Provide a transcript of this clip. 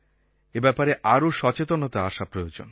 এই ব্যাপারে আরও সচেতনতা আসা প্রয়োজন